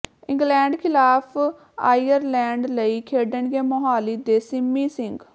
England ਖ਼ਿਲਾਫ਼ Ireland ਲਈ ਖੇਡਣਗੇ ਮੋਹਾਲੀ ਦੇ ਸਿਮੀ ਸਿੰਘ